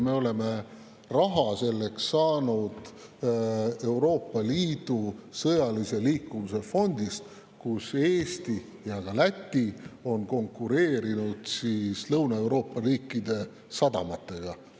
Me oleme selleks raha saanud Euroopa Liidu sõjalise liikuvuse fondist, kus Eesti ja ka Läti on konkureerinud Lõuna-Euroopa riikide sadamatega.